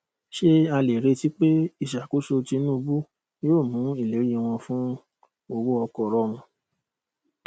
ṣé a lè retí pé ìṣàkóso tinúubú yóò mú ìlérí wọn fún owó ọkọ rọrùn